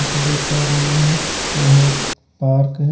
देख पा रहे हैं यह एक पार्क है।